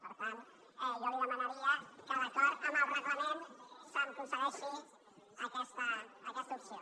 per tant jo li demanaria que d’acord amb el reglament se’m concedeixi aquesta opció